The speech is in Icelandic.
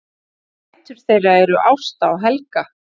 Dætur þeirra eru Ásta og Helga